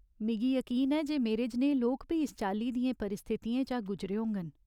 मिगी यकीन ऐ जे मेरे जनेहे लोक बी इस चाल्ली दियें परिस्थितियें चा गुजरे होङन।